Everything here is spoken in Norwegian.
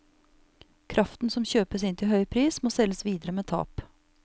Kraften som kjøpes inn til høy pris, må selges videre med tap.